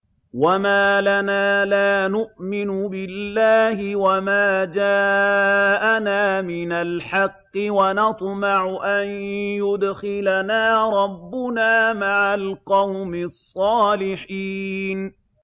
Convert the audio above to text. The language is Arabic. وَمَا لَنَا لَا نُؤْمِنُ بِاللَّهِ وَمَا جَاءَنَا مِنَ الْحَقِّ وَنَطْمَعُ أَن يُدْخِلَنَا رَبُّنَا مَعَ الْقَوْمِ الصَّالِحِينَ